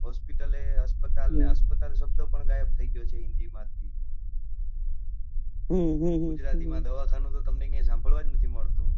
Hospital એ આપતલ શબ્દ એ ગાયબ થઇ ગયો છે હિન્દી માંથી ગુજરાતી માં દવાખાનું તો તમને ક્યાય સાંભળવા જ નથી મળતું.